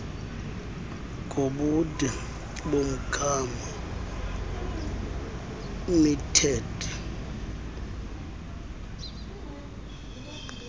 ngobude bomgama metered